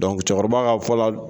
cɛkɔrɔba ka fɔ la